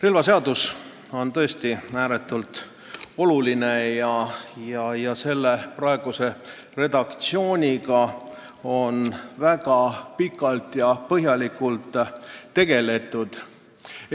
Relvaseadus on tõesti ääretult oluline ja selle praeguse redaktsiooniga on väga pikalt ja põhjalikult tegeldud.